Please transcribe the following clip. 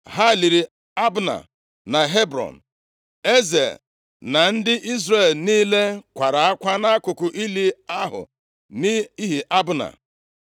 Ha liri Abna na Hebrọn. Eze na ndị Izrel niile kwara akwa nʼakụkụ ili ahụ nʼihi Abna.